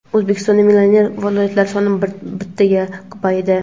O‘zbekistonda millioner viloyatlar soni bittaga ko‘paydi.